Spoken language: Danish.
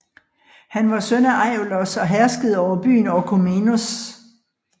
Han var søn af Aiolos og herskede over byen Orchomenos